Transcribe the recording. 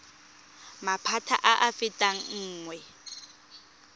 maphata a a fetang nngwe